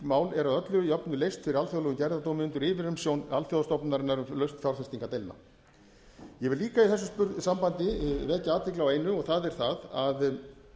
mál eru að öllu jöfnu leyst fyrir alþjóðlegum gerðardómi undir yfirumsjón alþjóðastofnunarinnar um lausn fjárfestingardeilna ég vil líka í þessu sambandi vekja athygli á einu og það er að